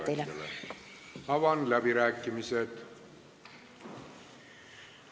Avan läbirääkimised.